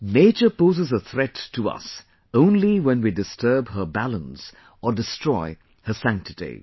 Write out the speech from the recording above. nature poses a threat to us only when we disturb her balance or destroy her sanctity